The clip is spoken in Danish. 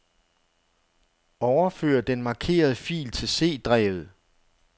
Overfør den markerede fil til C-drevet.